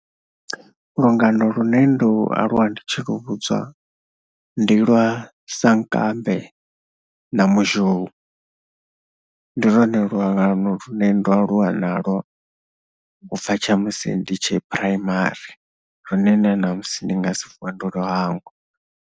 Lungano lune ndo aluwa ndi tshi lu vhudzwa ndi lwa sankambe na muzhou. Ndi lwone lungano lune ndo aluwa nalwo u bvaa tsha musi ndi tshe phuraimari lune na ṋamusi ndi nga si vuwe ndo lu hangwa.